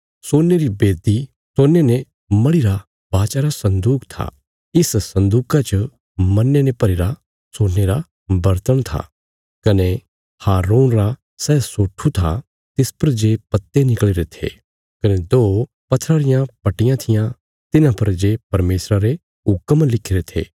तिसच खुशबुदार सामग्रिया जो जल़ाणे रे खातर सोने री बेदी कने सोने ने मढ़ीरा वाचा रा सन्दूक था इस सन्दूका च मन्ने ने भरीरा सोने रा बर्तण था कने हारून रा सै सोठू था तिस पर जे पत्ते निकल़ीरे थे कने दो पत्थरा रियां पट्टियां थिआं तिन्हां पर जे परमेशरा रे हुक्म लिखिरे थे